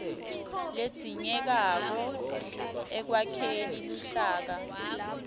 ledzingekako ekwakheni luhlaka